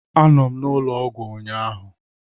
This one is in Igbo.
Anọ m n'ụlọ ọgwụ ụnyahụ.